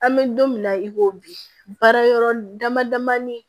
An bɛ don min na i ko bi baara yɔrɔ dama damani